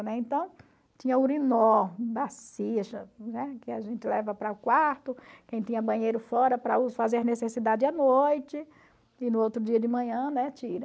Então, tinha urinol né, que a gente leva para o quarto, quem tinha banheiro fora para fazer necessidade à noite, e no outro dia de manhã, né, tira.